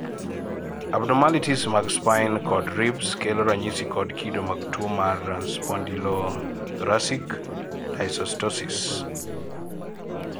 abnormalities mag spine kod ribs kelo ranyisi kod kido mag tuwo mar spondylothoracic dysostosis.